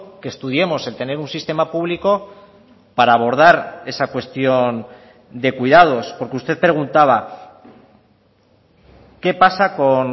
que estudiemos el tener un sistema público para abordar esa cuestión de cuidados porque usted preguntaba qué pasa con